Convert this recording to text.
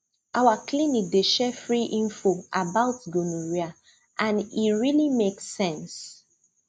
our clinic dey share free info about gonorrhea and e really make sense